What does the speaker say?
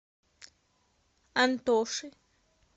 антоши